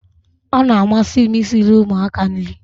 Ọ na-amasị m i siri ụmụaka nri